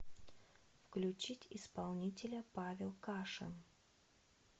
включить исполнителя павел кашин